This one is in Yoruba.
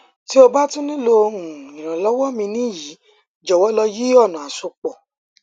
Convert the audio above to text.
ti o ba tun nilo um iranlọwọ mi ni yi jọwọ lo yi ọna asopọ